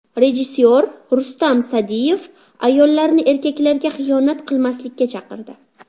Rejissor Rustam Sa’diyev ayollarni erkaklarga xiyonat qilmaslikka chaqirdi.